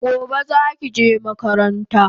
Gobe zaki je makaranta